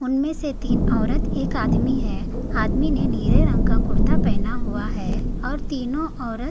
उनमे से तीन ओरत एक आदमी है आदमी ने नीले रंग का कुड़ता पहना हुआ है और तीनो ओरत--